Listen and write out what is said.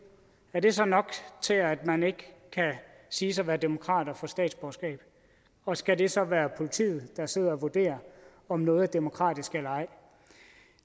er det så nok til at man ikke kan siges at være demokrat og få statsborgerskab og skal det så være politiet der sidder og vurderer om noget er demokratisk eller ej